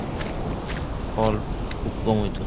ফল খুব কম হয়তো।